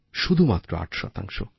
শুধু মাত্র ৮ শতাংশ